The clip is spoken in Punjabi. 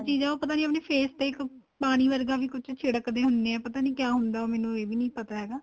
ਚੀਜ ਏ ਉਹ ਪਤਾ ਨਹੀਂ ਆਪਣੇਂ face ਤੇ ਪਾਣੀ ਵਰਗਾ ਵੀ ਕੁੱਝ ਛਿੱੜਕ ਦੇ ਹੁਣੇ ਏ ਪਤਾ ਨਹੀਂ ਕਿਹਾ ਹੁੰਦਾ ਉਹ ਮੈਨੂੰ ਏ ਵੀ ਨਹੀਂ ਪਤਾ ਹੈਗਾ